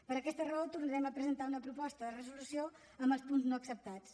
per aquesta raó tornarem a presentar una proposta de resolució amb els punts no acceptats